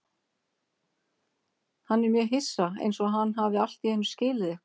Hann er mjög hissa, einsog hann hafi allt í einu skilið eitthvað.